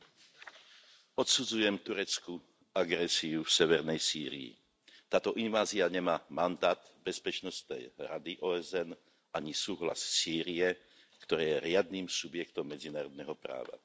Pán predsedajúci, odsudzujem tureckú agresiu v severnej Sýrii. Táto invázia nemá mandát Bezpečnostnej rady OSN, ani súhlas Sýrie, ktorá je riadnym subjektom medzinárodného práva.